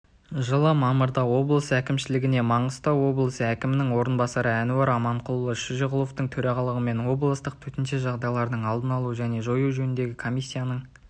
жылы мамырда облыс әкімшілігінде маңғыстау облысы әкімінің орынбасары әнуар аманқұлұлы шөжеғұловтың төрағалығымен облыстық төтенше жағдайлардың алдын алу және жою жөніндегі комиссиясының